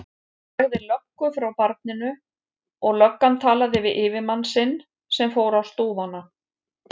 Hann sagði löggu frá barninu og löggan talaði við yfirmann sinn sem fór á stúfana.